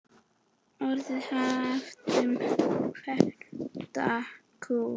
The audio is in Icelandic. Orðið haft um vembda kú.